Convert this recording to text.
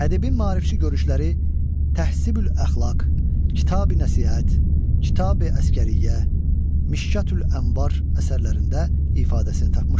Ədəbin maarifçi görüşləri Təhsibül-əxlaq, Kitabi-Nəsihət, Kitabi-Əsgəriyyə, Mişkətül-Ənvar əsərlərində ifadəsini tapmışdır.